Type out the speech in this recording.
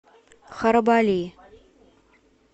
харабали